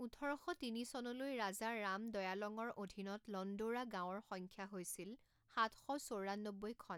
ওঠৰ শ তিনিচনলৈ ৰাজা ৰাম দয়ালঙৰ অধীনত লণ্ডৌৰা গাঁৱৰ সংখ্যা হৈছিল সাত শ চৌৰান্নব্বৈখন।